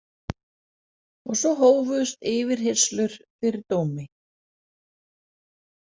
Og svo hófust yfirheyrslur fyrir dómi.